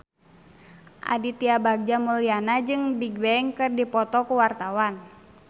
Aditya Bagja Mulyana jeung Bigbang keur dipoto ku wartawan